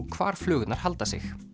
hvar flugurnar halda sig